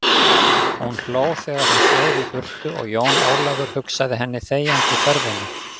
Hún hló þegar hún sveif í burtu og Jón Ólafur hugsað henni þegjandi þörfina.